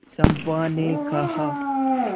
चंपा ने कहा